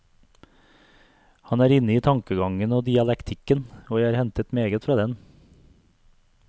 Han er inne i tankegangen og dialektikken, og jeg har hentet meget fra den.